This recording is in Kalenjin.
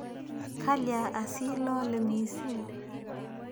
Kalya asii lole missing'?